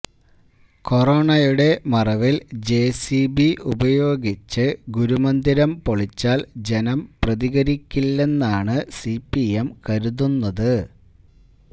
കൊറോണയുടെ മറവില് ജെസിബി ഉപയോഗിച്ച് ഗുരുമന്ദിരം പൊളിച്ചാല് ജനം പ്രതികരിക്കില്ലെന്നാണ് സിപിഎം കരുതുന്നത്